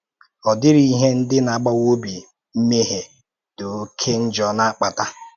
Ọ̀ dịrị ihe ndị na-agbawa obi mmehie dị ọ̀ké njọ na-akpata.